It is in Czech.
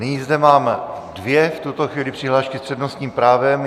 Nyní zde mám dvě v tuto chvíli přihlášky s přednostním právem.